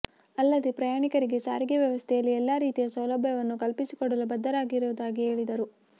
ಅಲ್ಲದೇ ಪ್ರಯಾಣಿಕರಿಗೆ ಸಾರಿಗೆ ವ್ಯವಸ್ಥೆಯಲ್ಲಿ ಎಲ್ಲ ರೀತಿಯ ಸೌಲಭ್ಯವನ್ನು ಕಲ್ಪಿಸಿ ಕೊಡಲು ಬದ್ಧವಾಗಿರುವುದಾಗಿ ಹೇಳಿದರು